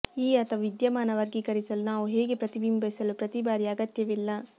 ಈ ಅಥವಾ ವಿದ್ಯಮಾನ ವರ್ಗೀಕರಿಸಲು ನಾವು ಹೇಗೆ ಪ್ರತಿಬಿಂಬಿಸಲು ಪ್ರತಿ ಬಾರಿ ಅಗತ್ಯವಿಲ್ಲ